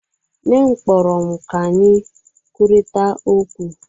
Nne m kpọrọ m ka anyị kwurịta okwu.